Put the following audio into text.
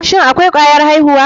Shin akwai kwayar aihuwa.